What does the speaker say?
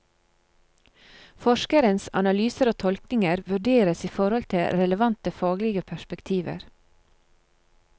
Forskerens analyser og tolkninger vurderes i forhold til relevante faglige perspektiver.